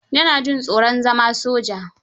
Ya na jin tsoron zana soja